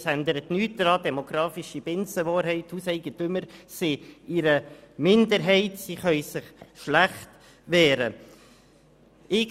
Das ändert nichts an der demokratischen Binsenwahrheit, dass Hauseigentümer in einer Minderheit sind und sich schlecht wehren können.